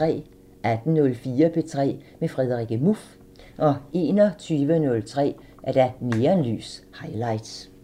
18:04: P3 med Frederikke Muff 21:03: Neonlys – Highlights